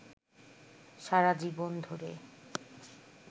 সারা জীবন ধরে